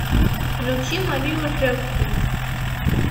включи марию ржевскую